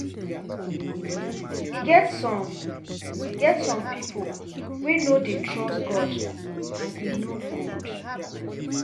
E get some get some people wey no dey trust God and e no good